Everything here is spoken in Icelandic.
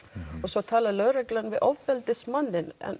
og svo talar lögreglan við ofbeldismanninn en